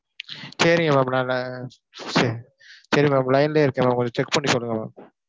சரிங்க ma'am நானு சரி ma'am line லயே இருக்கேன் ma'am. கொஞ்சம் check பண்ணி சொல்லுங்க ma'am